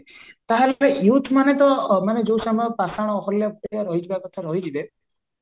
ତାହେଲେ youth ମାନେ ତ ମାନେ ପାଷାଣ ରହିଯିବା କଥା ରହିଯିବେ